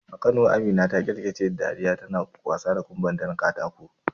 A Kano Amina ta kyalkyale da dariya tana wasa da kumbonta na katako.